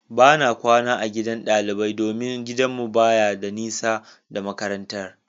Bana kwana a gidan ɗalibai domin gidanmu baya da nisa da makarantar.